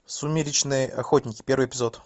сумеречные охотники первый эпизод